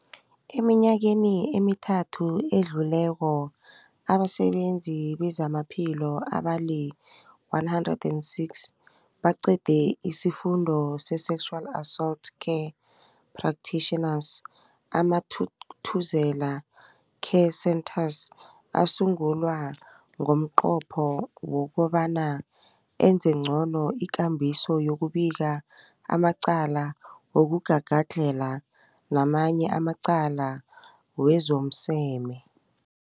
Eminyakeni emithathu edluleko, abasebenzi bezamaphilo abali-106 baqede isiFundo se-Sexual Assault Care Practitioners. AmaThuthuzela Care Centres asungulwa ngomnqopho wokobana enze ngcono ikambiso yokubika amacala wokugagadlhela namanye amacala wezomseme.